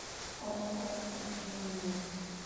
ооо уфимнефть